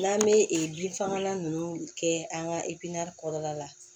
N'an bɛ bin fagalan nunnu kɛ an ka kɔrɔ la